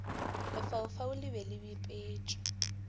lefaufau le be le bipetšwe